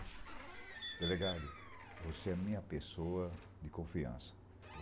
Delegado, você é minha pessoa de confiança.